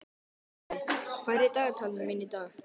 Bambi, hvað er í dagatalinu mínu í dag?